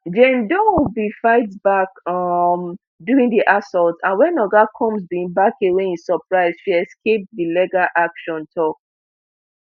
jane doe bin fight back um during di assault and wen oga combs bin back away in surprise she escape di legal action tok